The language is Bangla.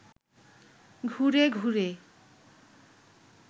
ঘুরে ঘুরে